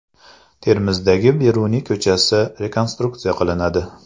Termizdagi Beruniy ko‘chasi rekonstruksiya qilinadi.